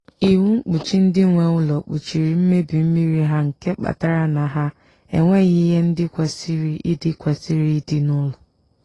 iwu mkpuchi ndị nwe ụlọ kpuchiri mmebi mmiri ha nke kpatara na ha enweghị ihe ndị kwesịrị ịdị kwesịrị ịdị n'ụlọ